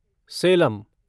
Salem